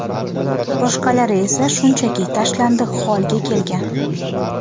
Boshqalari esa shunchaki tashlandiq holga kelgan.